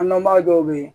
An dɔnbaga dɔw bɛ yen